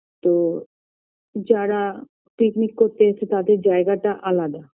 তো যারা picnic করতে এসেছে তাদের জায়গাটা আলাদা